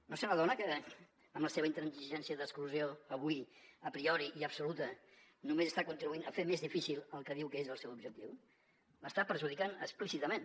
no se n’adona que amb la seva intransigència d’exclusió avui a priori i absoluta només està contribuint a fer més difícil el que diu que és el seu objectiu l’està perjudicant explícitament